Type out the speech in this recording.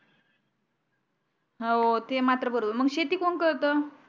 हो ते मात्र बरोबर मग शेती कोण करत